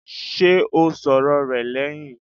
Ṣé o sọ̀rọ̀ rẹ̀ lẹ́hìn?